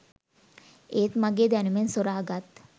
ඒත් මගෙ දැනුමෙන් සොරා ගත්